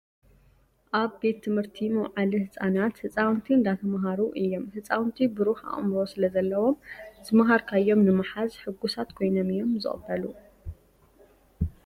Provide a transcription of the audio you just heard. ኣብ ቤት ትምህርቲ መውዓሊ ህፃናት ህፃውንቲ እንዳተማሃሩ እዮም ። ህፃውንቲ ብሩህ ኣእምሮ ስለ ዘለዎም ዝማሃርካዮም ንምሓዝ ሕጉሳት ኮይኖም እዮም ዝቅበሉ።